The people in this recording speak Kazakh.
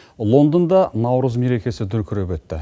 лондонда наурыз мерекесі дүркіреп өтті